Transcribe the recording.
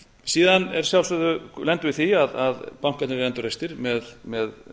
síðan lendum við í því að bankarnir eru endurreistir með